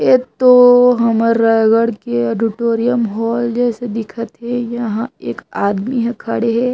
ये तो हमर रायगढ़ ऑडिटोरियम हॉल जैसे दिखत थे यहाँ एक आदमी ह खड़े हे।